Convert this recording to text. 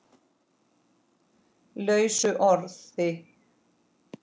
lausu orði